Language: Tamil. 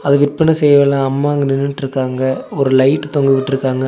இத விற்பன அம்மா அங்க நின்னுட்ருக்காங்க ஒரு லைட் தொங்கவிட்ருக்காங்க.